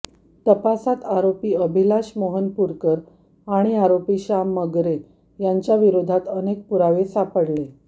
तपासात आरोपी अभिलाष मोहनपूरकर आणि आरोपी श्याम मगरे यांच्याविरोधात अनेक पुरावे सापडले